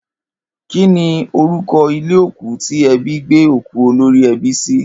Kí ni orúko̩ ilé òkú tí e̩bí gbé òkú olorí e̩bí sí?